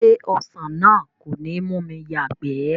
Ṣé ọsàn náà kò ní mú mi yàgbẹ̀?